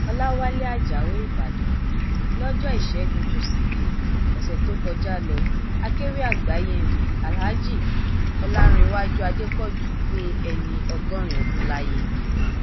ọlàwálẹ ajáò ìbàdàn lọjọ ìṣẹguntúṣídẹẹ ọsẹ tó kọjá lókèwí àgbáyé nni alhaji olanréwájú adépọjú pé ẹni ọgọrin ọdún láyé